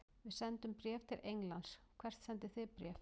Við sendum bréf til Englands. Hvert sendið þið bréf?